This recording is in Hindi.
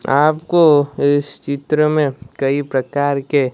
आपको इस चित्र में कई प्रकार के--